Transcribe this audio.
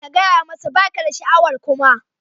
Ka gaya masa ba ka da sha'awar kuma